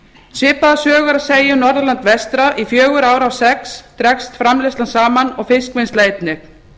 svipaða sögu er að segja um norðurland vestra í fjögur ár af sex dregst framleiðslan saman og fiskvinnsla einnig